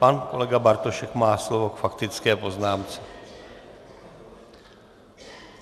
Pan kolega Bartošek má slovo k faktické poznámce.